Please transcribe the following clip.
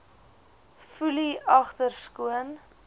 foelie agter skoon